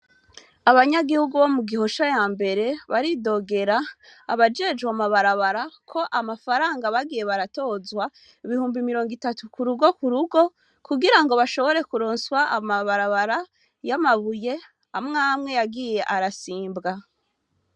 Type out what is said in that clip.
Abanyagihugu bo mu Gihosha ya mbere baridogera abajejwe amabarabara ko amafaranga bagiye baratozwa ibihumbi mirongo itatu ku rugo ku rugo kugirango bashobore kuronswa amabarabara y'amabuye amwamwe yagiye arasimbwa.